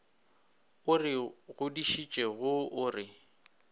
o re godišitšego o re